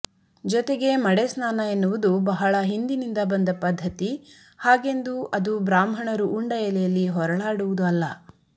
ಜೊತೆಗೆ ಮಡೆಸ್ನಾನ ಎನ್ನುವುದು ಬಹಳ ಹಿಂದಿನಿಂದ ಬಂದ ಪದ್ದತಿ ಹಾಗೆಂದು ಅದು ಬ್ರಾಹ್ಮಣರು ಉಂಡ ಎಲೆಯಲ್ಲಿ ಹೊರಳಡಾವುದು ಅಲ್ಲ